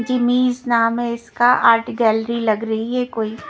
जिमिस नाम है इसका आर्ट गैलरी लग रही है कोई--